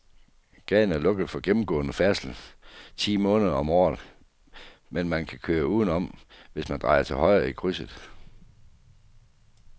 Gaden er lukket for gennemgående færdsel ti måneder om året, men man kan køre udenom, hvis man drejer til højre i krydset.